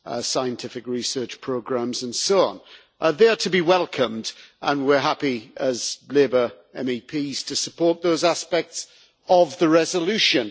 scientific research programmes, and so on, are there to be welcomed, and we are happy as Labour MEPs to support those aspects of the resolution.